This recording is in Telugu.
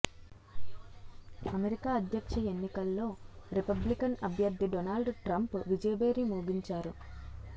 అమెరికా అధ్యక్ష ఎన్నికల్లో రిపబ్లికన్ అభ్యర్థి డోనాల్డ్ ట్రంప్ విజయభేరి మోగించారు